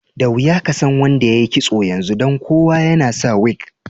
Da wiya ka san wanda yayi kisso yanzu dan kowa yana sa wig.